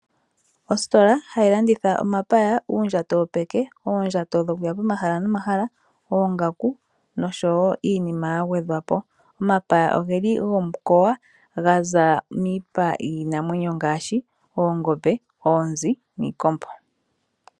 Ositola hayi landitha omapaya, uundjato wopeke, oondjato dhokuya pomahala nomahala, oongaku noshowo iinima ya gwedhwa po. Omapaya ogeli gomukowa ga za miipa yiinamwenyo ngaashi oongombe, oonzi, niikombo.